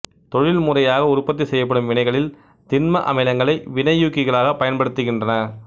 தொழில்முறையாக உற்பத்தி செய்யப்படும் வினைகளில் திண்ம அமிலங்களை வினையூக்கிகளாகப் பயன்படுத்துகின்றன